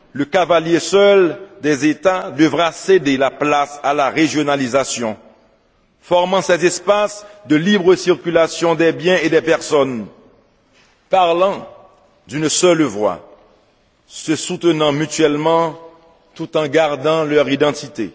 le cavalier seul des États devra céder la place à la régionalisation, formant cet espace de libre circulation des biens et des personnes, parlant d'une seule voix, se soutenant mutuellement tout en gardant leur identité.